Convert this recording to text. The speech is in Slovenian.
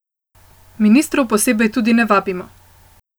Ministrov posebej tudi ne vabimo.